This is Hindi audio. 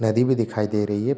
नदी भी दिखाई दे रही है।